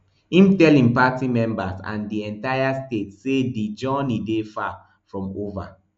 im tell im party members and di entire state say di journey dey far from ova